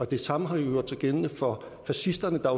det samme har gjort sig gældende for fascisterne der